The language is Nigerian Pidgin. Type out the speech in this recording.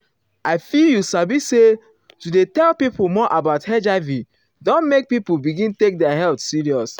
i feel you sabi say to dey tell pipo more about hiv don make people begin take their health serious.